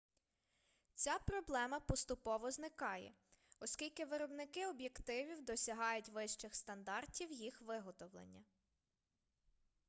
ця проблема поступово зникає оскільки виробники об'єктивів досягають вищих стандартів їх виготовлення